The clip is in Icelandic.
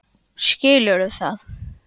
Skilurðu það?